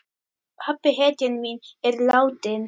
Pabbi, hetjan mín, er látinn.